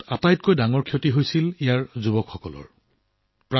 এই পৰিৱেশৰ আটাইতকৈ ডাঙৰ ক্ষতি হৈছিল ইয়াৰ যুৱকযুৱতীসকলৰ